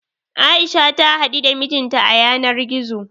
A'isha ta haɗu da mijin ta a yanar gizo.